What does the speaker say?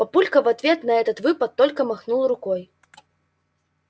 папулька в ответ на этот выпад только махнул рукой